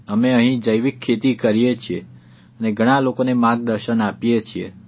અમે અહીં જૈવિક ખેતી કરીએ છીએ અને ઘણા લોકોને માર્ગદર્શન આપીએ છીએ